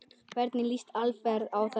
Hvernig lýst Alfreð á það?